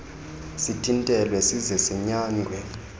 sithintelwe size sinyangwe